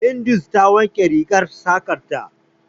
Hindu ta wanke rigar saƙar ta.